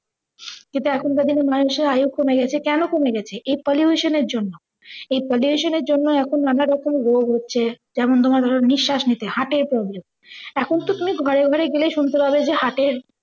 কিন্তু এখনকার দিনে মানুষের আয়ু কমে গেছে, কেন কমে গেছে এই pollution এর জন্য। এই pollution এর জন্য এখন নানা রকম রোগ হচ্ছে। যেমন ধরো নিশ্বাস নিতে হার্টের problem এখন তো তুমি ঘরে ঘরে গেলেই সুন্তে পাবে যে হার্ট এর